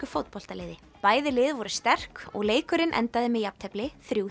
fótboltaliði bæði lið voru sterk og leikurinn endaði með jafntefli þriggja